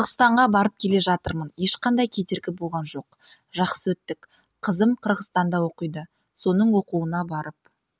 қырғызстанға барып келе жатырмын ешқандай кедергі болған жоқ жақсы өттік қызым қырғызстанда оқиды соның оқуына барып